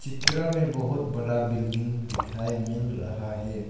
चित्र में बहुत बड़ा बिल्डिंग दिखाई मिल रहा है।